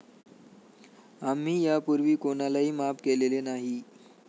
आम्ही यापूर्वी कोणालाही माफ केलेले नाही.